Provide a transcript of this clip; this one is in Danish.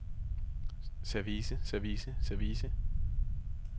service service service